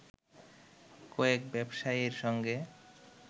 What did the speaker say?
কয়েক ব্যবসায়ীর সঙ্গে